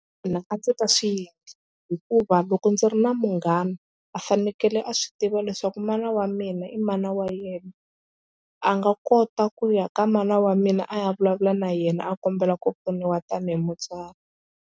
Mina a ndzi ta swi endla hikuva loko ndzi ri na munghana a fanekele a swi tiva leswaku mana wa mina i mana wa yena a nga kota ku ya ka mana wa mina a ya vulavula na yena a kombela ku pfuniwa tanihi mutswari.